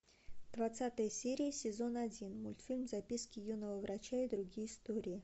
двадцатая серия сезон один мультфильм записки юного врача и другие истории